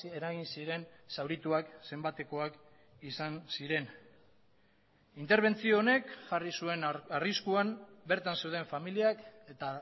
eragin ziren zaurituak zenbatekoak izan ziren interbentzio honek jarri zuen arriskuan bertan zeuden familiak eta